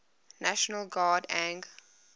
national guard ang